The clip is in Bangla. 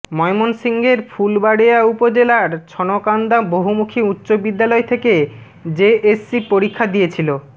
ময়মনসিংহের ফুলবাড়িয়া উপজেলার ছনকান্দা বহুমুখী উচ্চ বিদ্যালয় থেকে জেএসসি পরীক্ষা দিয়েছিল